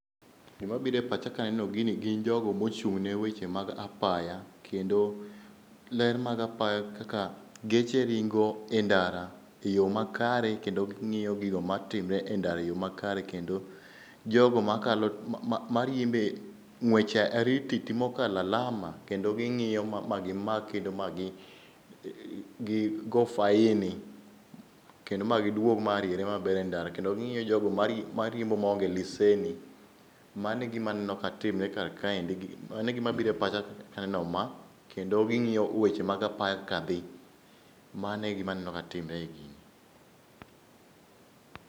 Gima bire pacha kaneno gini gin jogo mochung'ne weche mag apaya, kendo ler mag apaya kaka geche ringo e ndara e yo makare. Kendo ging'iyo gigo matimre e ndara e yo makare, kendo jogo ma kalo ma riembe ng'wech airititi mokala lama. Kendo ging'iyo ma gimak kendo ma gi gi go faini, kendo ma giduog mariere maber e ndara. Kendo ging'iyo jogo marie mariembo maonge leseni. Mano e gima aneno ka timre kar kaendi, mano e gima bire pacha kaneno ma. Kendo ging'iyo weche mag apaya ka dhi, mano e gima aneno ka timre e gini.